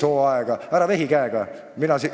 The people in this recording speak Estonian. Härra Ligi, ära vehi käega!